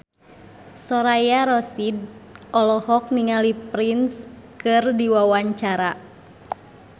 Soraya Rasyid olohok ningali Prince keur diwawancara